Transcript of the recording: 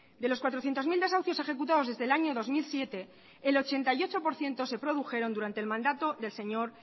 de los cuatrocientos mil desahucios ejecutados desde el año dos mil siete el ochenta y ocho por ciento se produjeron durante el mandato del señor